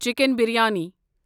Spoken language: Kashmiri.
چِکن بریانی